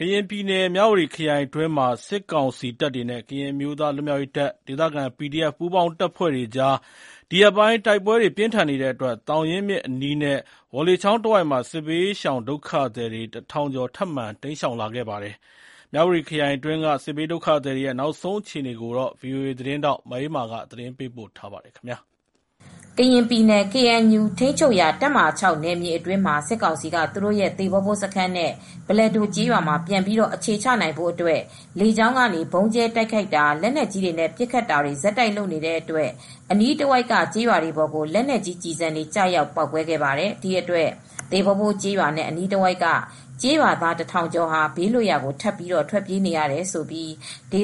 ကရင်ပြည်နယ် မြဝတီခရိုင်အတွင်းမှာ စစ်ကောင်စီတပ်တွေနဲ့ ကရင်အမျိုးသား လွတ်မြောက်ရေးတပ်၊ ဒေသခံ PDF ပူးပေါင်း တပ်ဖွဲ့တွေကြား ဒီရက်ပိုင်း တိုက်ပွဲတွေ ပြင်းထန်နေတဲ့အတွက် သောင်ရင်းမြစ်အနီးနဲ့ ဝေါလေချောင်းတဝိုက်မှာ စစ်ဘေးရှောင်ဒုက္ခသည် ၁,၀၀၀ ကျော် ထပ်မံ တိမ်းရှောင်လာပါတယ်။ မြဝတီခရိုင်တွင်းက စစ်ဘေးဒုက္ခသည်တွေရဲ့ နောက်ဆုံးအခြေအနေကို ဗွီအိုအေသတင်းထောက် မအေးအေးမာက သတင်းပေးပို့ထားပါတယ်။ ကရင်ပြည်နယ် ကေအန်ယူ ထိန်းချုုပ်ရာတပ်မဟာ နယ်မြေအတွင်းမှာ စစ်ကောင်စီက သူတို့ရဲ့ သေဘောဘိုးစခန်းနဲ့ ဘလက်ဒိုကျေးရွာမှာ ပြန်ပြီးအခြေချနိုင်ဖို့အတွက် လေကြောင်းကနေ ဗုံးကြဲတိုက်ခိုက်တာ၊ လက်နက်ကြီးနဲ့ပစ်ခတ်တာတွေ ဆက်တိုက်လုပ်နေတဲ့အတွက် အနီးတဝိုက်က ကျေးရွာတွေပေါ်ကို လက်နက်ကြီးကျည်ဆံတွေ ကျရောက်ပေါက်ကွဲခဲ့ပါတယ်။ ဒီအတွက် သေဘော့ဘိုးကျေးရွာနဲ့အနီးတဝိုက်က ကျေးရွာသားတထောင်ကျော်ဟာ ဘေးလွတ်ရာကို ထပ်ပြီးထွက်ပြေးနေရတယ်လို့ ဒေ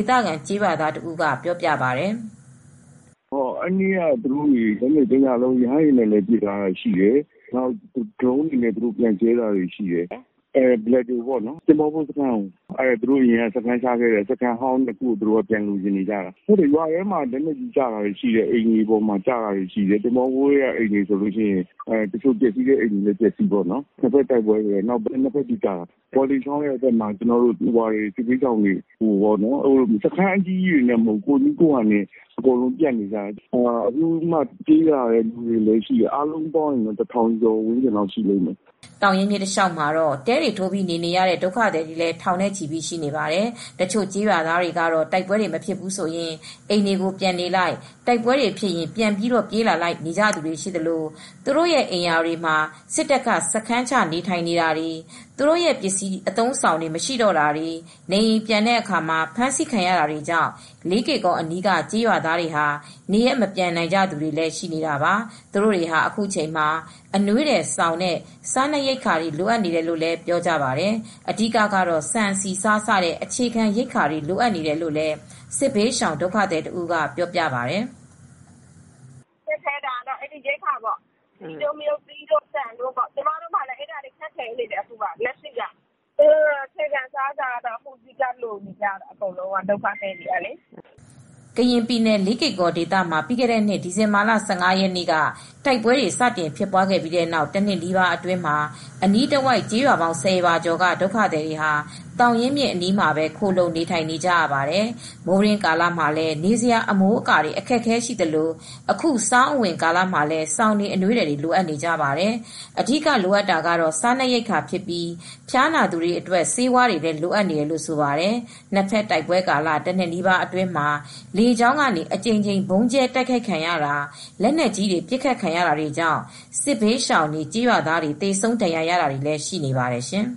သခံကျေးရွာသားတဦးကပြောပါတယ်။ “အဲဒီနေ့က တညလုံးလေကြောင်းကနေ ရဟတ်ယဉ်နဲ့လာပစ်တာတွေရှိတယ်။ နောက် ဒရုန်းတွေနဲ့ ဒီဘက်ကပြန်ကြဲတာတွေရှိတယ်။ ဘလက်ဒိုနဲ့ သေဘော့ဘိုးစခန်း နေရာ၂ နှစ်ခုကို သူတို့ကပြန်လိုချင်နေကြတယ်။ ရွာထဲမှာလက်နက်ကြီး ကျတာရှိတယ်။ အိမ်တွေပေါ်ကျတာတွေရှိတယ်။ သေဘော့ဘိုးထဲက အိမ်တွေဆိုရင် ပျက်စီးကုန်တာရှိတယ်။ နှစ်ဖက်တိုက်ပွဲတွေနဲ့ နှစ်ဖက်ပစ်ကြတာ။ ဝေါ်လေချောင်းဘက်မှာဆိုရင် ဒုက္ခသည်တွေက စစ်ဘေးရှောင်တွေ အကုန်လုံးတစုတည်းမဟုတ်ဘူး။ စခန်းအကြီးကြီးတွေနဲ့မဟုတ်ဘူး။ ကိုယ့်နည်းကိုယ်ဟန်တွေနဲ့ အစုတွေနဲ့နေနေကြတာ။ အားလုံးပေါင်းလိုက်ရင်တော့ လူဦးရေ တထောင်ကျော်ရှိပါတယ်။” သောင်ရင်းမြစ်တလျှောက်မှာတော့ တဲတွေထိုးပြီးနေနေကြတဲ့ဒုက္ခသည်တွေလည်း ထောင်နဲ့ချီရှိနေပါတယ်။တချို့ကျေးရွာသားတွေကတော့ တိုက်ပွဲတွေမဖြစ်ဘူးဆိုရင် အိမ်တွေကိုပြန်နေလိုက်၊ တိုက်ပွဲတွေဖြစ်ရင် ပြန်ပြေးလိုက်နဲ့ နေကြသူတွေရှိသလို သူတို့အိမ်ယာတွေမှာ စစ်တပ်က စခန်းချနေထိုင်နေတာတွေ၊ သူတို့ ပစ္စည်းတွေ အသုံးအဆောင်တွေမရှိတော့တာတွေ၊ နေအိမ်ပြန်တဲ့အခါ အဖမ်းခံရတာတွေကြောင့် လေးကေ့ကော်အနီးက ကျေးရွာသားတွေဟာ နေရပ်မပြန်နိုင်ကြသူတွေလည်း ရှိနေတာပါ။ သူတို့တွေကတော့ အခုချိန်မှာ အနွေးထည်၊ စောင်နဲ့ စားနပ်ရိက္ခာတွေ လိုနေကြတယ်လို့လည်း ပြောကြပါတယ်။ အဓိကတော့ဆန်၊ ဆီ၊ ဆား စတဲ့အခြေခံရိက္ခာတွေ လိုအပ်နေတယ်လို့လည်း စစ်ဘေးရှောင်ဒုက္ခသည်တဦးကပြောပြပါတယ်။ “ခက်ခဲတာကတော့ အဲဒီရိက္ခာပေါ့။ ဆန်တို့ ဆီတို့က ကျမတို့မှာလည်းခက်ခဲနေပါတယ်။ အခြေခံအစားအစာကတော့ အဓိက လိုနေကြတယ်။ ဒုက္ခသည်တွေကလေ။” ကရင်ပြည်နယ်၊ လေးကေ့ကော်ဒေသမှာ ပြီးခဲ့တဲ့နှစ် ဒီဇင်ဘာလ ၁၅ ရက်နေ့က တိုက်ပွဲတွေစတင်ဖြစ်ပွားခဲ့ပြီးတဲ့နောက် တနှစ်နီးပါးအတွင်းမှာ အနီးတဝိုက်ကျေးရွာပေါင်း ၁၀ ရွာကျော်က ဒုက္ခသည်တွေဟာ သောင်ရင်းမြစ်အနီးမှာ ခိုလှုံနေထိုင်ကြရပါတယ်။ မိုးတွင်းကာလမှာလည်း နေစရာအမိုးအကာတွေ အခက်အခဲရှိသလို အခုဆောင်းအဝင်ကာလမှာလည်း စောင်တွေ၊ အနွေးထည်တွေ လိုအပ်နေကြပါတယ်။ အဓိကလိုအပ်တာကတော့ စားနပ်ရိက္ခာဖြစ်ပြီး ဖျားနာသူတွေအတွက် ဆေးဝါးတွေလည်းလိုအပ်နေတယ်လို့ ဆိုပါတယ်။ နှစ်ဘက်တိုက်ပွဲကာလ တနှစ်နီးပါးအတွင်းမှာ လေကြောင်းကနေ အကြိမ်ကြိမ် ဗုံးကြဲတိုက်ခိုက်ခံရတာ၊ လက်နက်ကြီးတွေနဲ့ပစ်ခတ်ခံရတာတွေကြောင့် စစ်ဘေးရှောင်တွေ၊ ကျေးရွာသားတွေ သေဆုံးဒဏ်ရာရတာတွေလည်းရှိနေပါတယ်ရှင်။